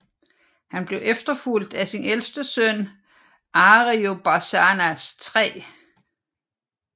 Han blev efterfulgt af sin ældste søn Ariobarzanes 3